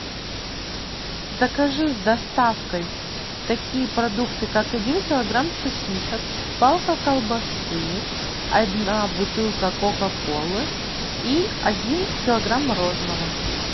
закажи с доставкой такие продукты как один килограмм сосисок палка колбасы одна бутылка кока колы и один килограмм мороженого